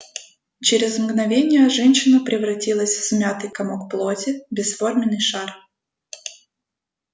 через мгновение женщина превратилась в смятый комок плоти бесформенный шар